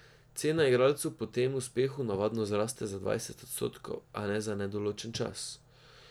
Cena igralcu po tem uspehu navadno zraste za dvajset odstotkov, a ne za nedoločen čas.